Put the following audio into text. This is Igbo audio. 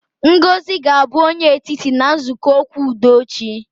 Ngozi ga-abụ onye etiti na nzukọ okwu udo echi